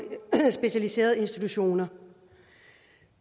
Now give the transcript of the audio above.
specialiserede institutioner